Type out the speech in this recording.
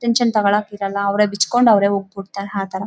Tension ತಗೊಳಕ್ಕೆ ಇರಲ್ಲ ಅವ್ರೇ ಬಿಚ್‌ಕೊಂಡು ಅವರೇ ಹೋಗ್‌ ಬಿಡ್ತಾರೆ ಆ ತರ.